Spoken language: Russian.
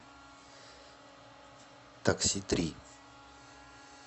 такси три